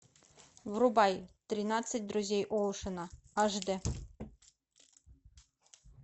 врубай тринадцать друзей оушена аш д